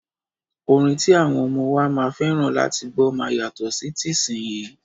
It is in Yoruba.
Orin ti àwọn ọmọ wa máa fẹ́ràn láti gbọ́ máa yàtọ̀ sí tìsínyii.